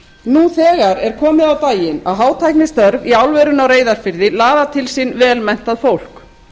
nú þegar er komið á daginn að hátæknistörf í álverinu á reyðarfirði laða til sín vel menntað fólk